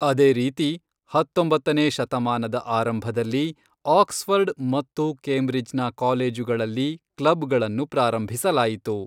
ಅದೇ ರೀತಿ, ಹತ್ತೊಂಬತ್ತನೇ ಶತಮಾನದ ಆರಂಭದಲ್ಲಿ ಆಕ್ಸ್ಫರ್ಡ್ ಮತ್ತು ಕೇಂಬ್ರಿಡ್ಜ್ನ ಕಾಲೇಜುಗಳಲ್ಲಿ ಕ್ಲಬ್ಗಳನ್ನು ಪ್ರಾರಂಭಿಸಲಾಯಿತು.